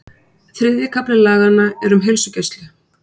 Þriðji kafli laganna er um heilsugæslu.